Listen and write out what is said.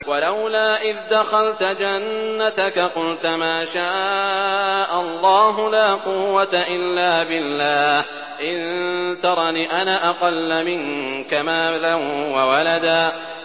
وَلَوْلَا إِذْ دَخَلْتَ جَنَّتَكَ قُلْتَ مَا شَاءَ اللَّهُ لَا قُوَّةَ إِلَّا بِاللَّهِ ۚ إِن تَرَنِ أَنَا أَقَلَّ مِنكَ مَالًا وَوَلَدًا